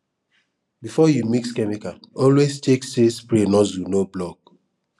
before you mix chemical always check say spray nozzle no block